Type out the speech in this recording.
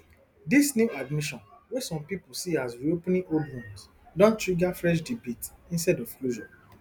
dis new admission wey some pipo see as reopening old wounds don trigger fresh debates instead of closure